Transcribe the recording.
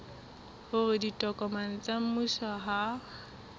hore ditokomane tsa mmuso ha